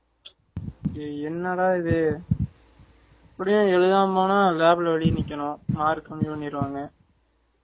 ச் ஏ என்னடா இது இப்படியே எழுதாம போன lab ல வெளிய நிக்கனும் mark கம்மி பண்ணிரு வாங்க